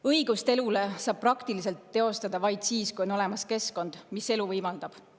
Õigust elule saab praktiliselt teostada vaid siis, kui on olemas keskkond, mis elu võimaldab.